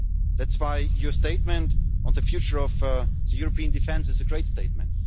That is why your statement on the future of European defence is a great statement.